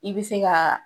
I bɛ se ka